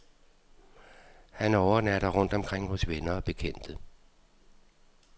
Han overnatter rundt omkring hos venner og bekendte.